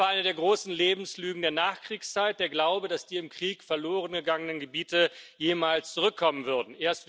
Das war eine der großen Lebenslügen der Nachkriegszeit der Glaube, dass die im Krieg verloren gegangenen Gebiete jemals zurückkommen würden.